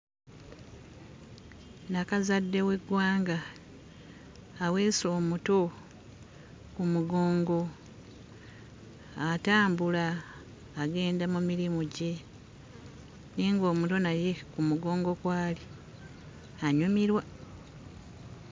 Nnakazadde w'eggwanga aweese omuto ku mugongo atambula agenda mu mirimu gye ye ng'omuto naye ku mugongo kw'ali anyumirwa.